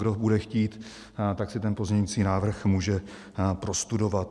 Kdo bude chtít, tak si ten pozměňující návrh může prostudovat.